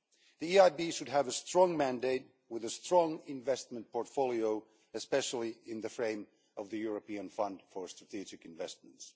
The EIB should have a strong mandate with a strong investment portfolio, especially in the framework of the European Fund for Strategic Investments.